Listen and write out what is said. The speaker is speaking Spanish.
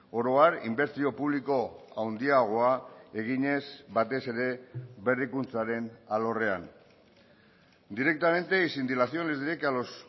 oro har inbertsio publiko handiagoa eginez batez ere berrikuntzaren alorrean directamente y sin dilaciones diré que a los